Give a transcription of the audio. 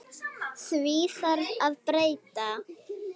Því þarf að breyta!